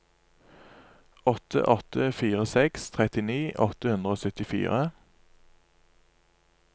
åtte åtte fire seks trettini åtte hundre og syttifire